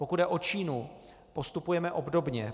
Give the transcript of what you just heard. Pokud jde o Čínu, postupujeme obdobně.